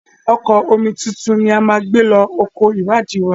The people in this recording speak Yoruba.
Ọkọ̀ omituntun ni a máa gbé lọ oko ìwádìí wa.